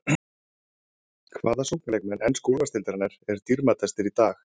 Hvaða sóknarleikmenn ensku úrvalsdeildarinnar eru dýrmætastir í dag?